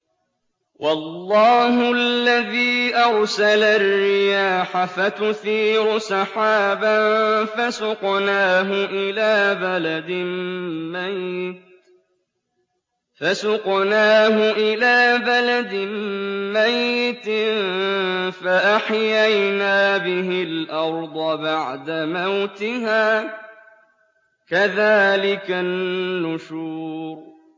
وَاللَّهُ الَّذِي أَرْسَلَ الرِّيَاحَ فَتُثِيرُ سَحَابًا فَسُقْنَاهُ إِلَىٰ بَلَدٍ مَّيِّتٍ فَأَحْيَيْنَا بِهِ الْأَرْضَ بَعْدَ مَوْتِهَا ۚ كَذَٰلِكَ النُّشُورُ